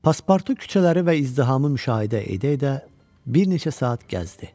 Paspartu küçələri və izdihamı müşahidə edə-edə bir neçə saat gəzdi.